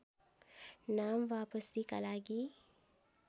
नाम वापसीका लागि